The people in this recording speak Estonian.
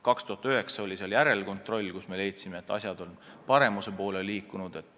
2009. aastal oli seal järelkontroll, mille käigus me leidsime, et asjad on paremuse poole liikunud.